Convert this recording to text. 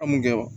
A mun kɛ wa